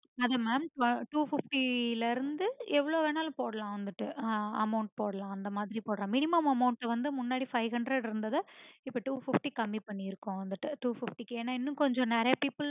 அத mam two fifty ல இருந்து எவளோ வேணுனாலும் போடலாம் வந்துட்டு ஆஹ் amount போடலாம் அந்த மாரி minimum amount வந்து முன்னாடி five hundred இருந்ததா இப்போ two fifty கம்மி பண்ணிருக்கோம் வந்துட்டு two fifty இக்கு ஏன்ன இன்னும் கொஞ்சம் நெறைய people